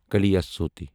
کالیاسوتہ